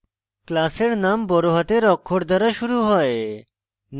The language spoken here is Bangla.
class এর name বড়হাতের অক্ষর দ্বারা শুরু হয়